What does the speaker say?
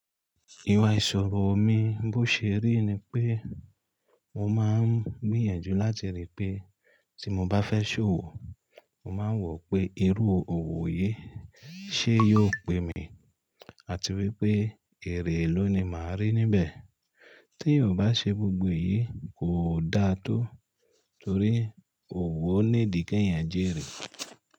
Ìwà ìṣòro mi bó ṣe rí ni pé mo máa ń gbìyànjú láti ríi pé tí mo bá fẹ́ ṣòwò, mo máa wò pé irú òwò yìí ṣe yóò pè mí àti wípé èrè élòó ni màá rí níbẹ̀. Tí eyò bá ṣe gbogbo yìí, kò dáa tó torí òwò ní dike eeyànjẹ́ rẹ̀.